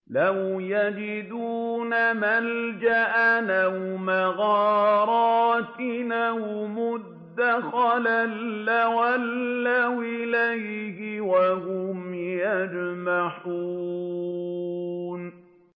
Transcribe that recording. لَوْ يَجِدُونَ مَلْجَأً أَوْ مَغَارَاتٍ أَوْ مُدَّخَلًا لَّوَلَّوْا إِلَيْهِ وَهُمْ يَجْمَحُونَ